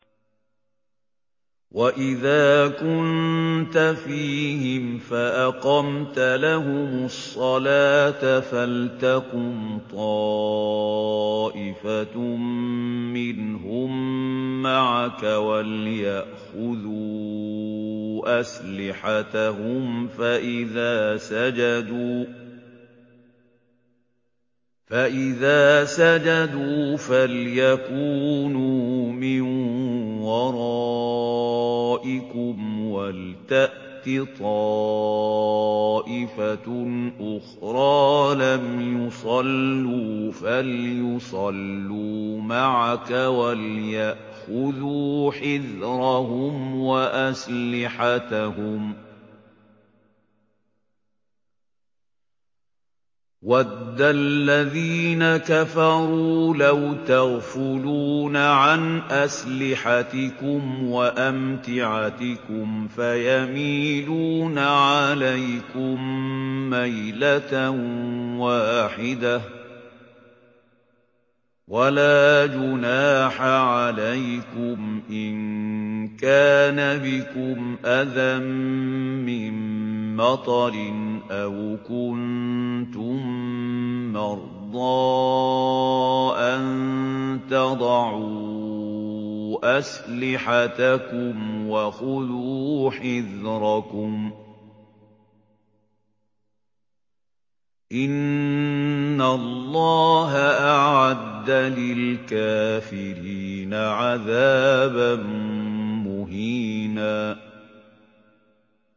وَإِذَا كُنتَ فِيهِمْ فَأَقَمْتَ لَهُمُ الصَّلَاةَ فَلْتَقُمْ طَائِفَةٌ مِّنْهُم مَّعَكَ وَلْيَأْخُذُوا أَسْلِحَتَهُمْ فَإِذَا سَجَدُوا فَلْيَكُونُوا مِن وَرَائِكُمْ وَلْتَأْتِ طَائِفَةٌ أُخْرَىٰ لَمْ يُصَلُّوا فَلْيُصَلُّوا مَعَكَ وَلْيَأْخُذُوا حِذْرَهُمْ وَأَسْلِحَتَهُمْ ۗ وَدَّ الَّذِينَ كَفَرُوا لَوْ تَغْفُلُونَ عَنْ أَسْلِحَتِكُمْ وَأَمْتِعَتِكُمْ فَيَمِيلُونَ عَلَيْكُم مَّيْلَةً وَاحِدَةً ۚ وَلَا جُنَاحَ عَلَيْكُمْ إِن كَانَ بِكُمْ أَذًى مِّن مَّطَرٍ أَوْ كُنتُم مَّرْضَىٰ أَن تَضَعُوا أَسْلِحَتَكُمْ ۖ وَخُذُوا حِذْرَكُمْ ۗ إِنَّ اللَّهَ أَعَدَّ لِلْكَافِرِينَ عَذَابًا مُّهِينًا